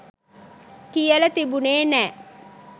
කියල තිබුණේ නෑ.